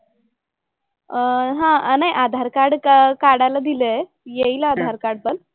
अह हां नाही आधार कार्ड का काढायला दिलंय. येईल आधार कार्ड पण.